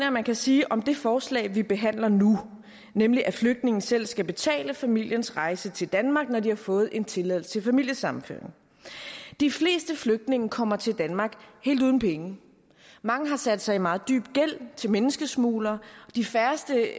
at man kan sige om det forslag vi behandler nu nemlig at flygtninge selv skal betale familiens rejse til danmark når de har fået en tilladelse til familiesammenføring de fleste flygtninge kommer til danmark helt uden penge mange har sat sig i en meget dyb gæld til menneskesmuglere de færreste